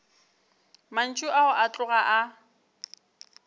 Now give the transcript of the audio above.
mantšu ao a tloga a